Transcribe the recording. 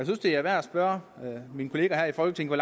synes det er værd at spørge mine kollegaer her i folketinget